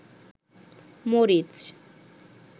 মরিচ